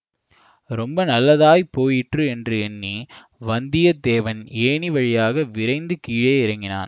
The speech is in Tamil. ரொம்ப நல்லதாய் போயிற்று என்று எண்ணி வந்தியத்தேவன் ஏணி வழியாக விரைந்து கீழே இறங்கினான்